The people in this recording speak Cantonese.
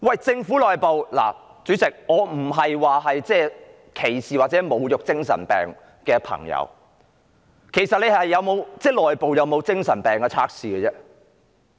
主席，我並非歧視或侮辱患精神病的朋友，其實政府內部有沒有精神病測試呢？